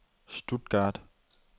Stuttgart